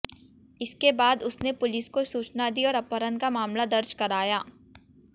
इसके बाद उसने पुलिस को सूचना दी और अपहरण का मामला दर्ज कराया